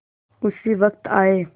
उसी वक्त आये